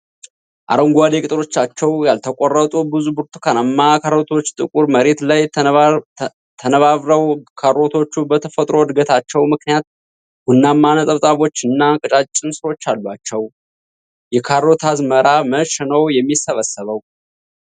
አረንጓዴ ቅጠሎቻቸው ያልተቆረጡ ብዙ ብርቱካናማ ካሮቶች ጥቁር መሬት ላይ ተነባብረዋል። ካሮቶቹ በተፈጥሮ እድገታቸው ምክንያት ቡናማ ነጠብጣቦችና ቀጫጭን ሥሮች አሏቸው። የካሮት አዝመራ መቼ ነው የሚሰበሰበው?